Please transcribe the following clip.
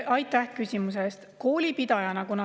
Aitäh küsimuse eest!